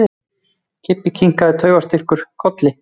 Kobbi kinkaði taugaóstyrkur kolli.